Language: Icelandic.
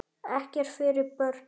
Ekkert fyrir börn.